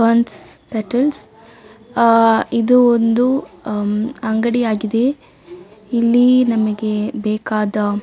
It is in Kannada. ಫೆರ್ನ್ಸ್ ಪೆಟಲ್ಸ್ ಆ ಆ ಇದು ಒಂದು ಹಮ್ ಅಂಗಡಿಯಾಗಿದೆ. ಇಲ್ಲಿ ನಮಗೆ ಬೇಕಾದ --